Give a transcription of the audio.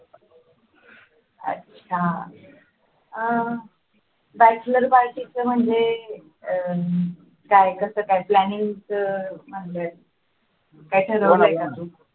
अच्छा अं bachelor party चा म्हणजे काय कसं काय planning चा